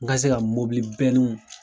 N ka se ka mɔbili